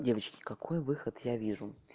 девочки какой выход я вижу